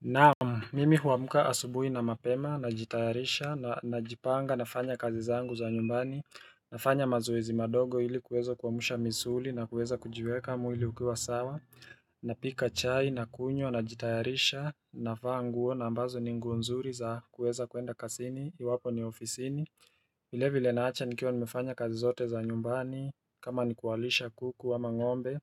Naam, mimi huamka asubui na mapema, najitayarisha, najipanga, nafanya kazi zangu za nyumbani, nafanya mazoezi madogo ili kuwezo kuwamsha misuli na kuweza kujiweka mwili ukiwa sawa, na pika chai, na kunywa, najitayarisha, navaa nguo, na ambazo ni nguo nzuri za kuweza kuenda kazini, iwapo ni ofisini vilevivile naacha nikiwa nimefanya kazi zote za nyumbani, kama nikuwalisha kuku ama ngombe,